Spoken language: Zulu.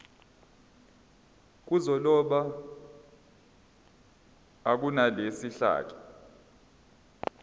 zokuloba akunelisi kahle